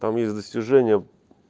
там есть достижения